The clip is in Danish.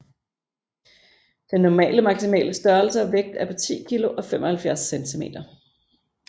Den normale maximale størrelse og vægt er på 10 kg og 75 cm